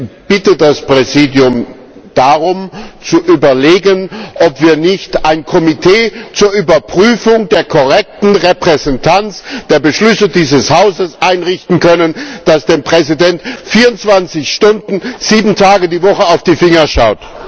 Ich bitte das Präsidium darum zu überlegen, ob wir nicht ein Komitee zur Überprüfung der korrekten Repräsentanz der Beschlüsse dieses Hauses einrichten können, das dem Präsidenten 24 Stunden 7 Tage die Woche auf die Finger schaut.